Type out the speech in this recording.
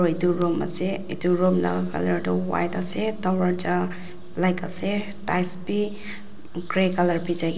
etu room ase etu room laga colour tu white ase darvaza black ase tails bhi grey colour bichei kina--